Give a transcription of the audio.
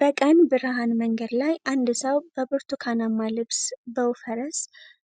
በቀን ብርሃን መንገድ ላይ አንድ ሰው በብርቱካናማ ልብስ ብውፈረስ